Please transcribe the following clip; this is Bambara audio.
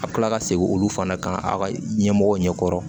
A bɛ tila ka segin olu fana kan aw ka ɲɛmɔgɔw ɲɛkɔrɔ